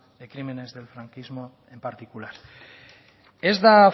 de crímenes del franquismo en particular ez da